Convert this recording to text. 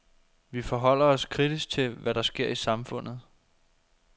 Vi forholder os kritisk til, hvad der sker i samfundet.